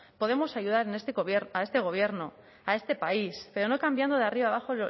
podemos ayudar a este gobierno a este país pero no cambiando de arriba abajo